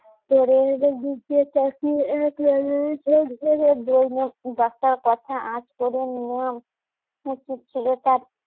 কথা আঁচ করে নেওয়া উচিত ছিল তার